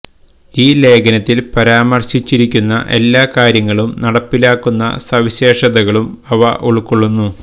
ഈ ലേഖനത്തിൽ പരാമർശിച്ചിരിക്കുന്ന എല്ലാ കാര്യങ്ങളും നടപ്പിലാക്കുന്ന സവിശേഷതകളും അവ ഉൾക്കൊള്ളുന്നു